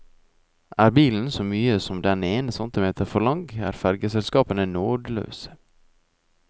Er bilen så mye som den ene centimeteren for lang, er fergeselskapene nådeløse.